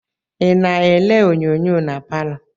I na-ele onyonyo na palọ?